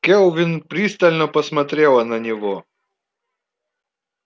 кэлвин пристально посмотрела на него